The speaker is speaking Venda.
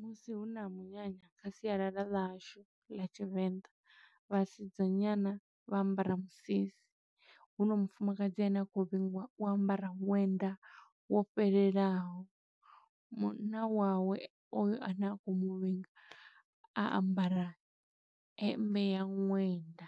Musi huna munyanya kha sialala ḽa hashu ḽa Tshivenḓa, vhasidzanyana vha ambara misisi, huno mufumakadzi ane a khou vhingwa u wa ambara ṅwenda wo fhelelaho. Munna wawe oyo ane a khou muvhinga, a ambara hemmbe ya ṅwenda.